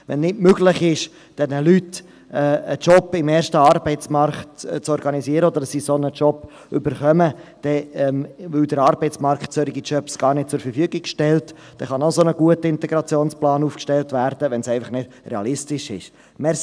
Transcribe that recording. Wenn es nicht möglich ist, diesen Leuten einen Job im ersten Arbeitsmarkt zu organisieren – oder dass sie einen solchen Job erhalten –, weil der Arbeitsmarkt solche Jobs gar nicht zur Verfügung stellt, kann man eine noch so gute Integrationsplanung aufstellen, wenn sie einfach nicht realistisch ist.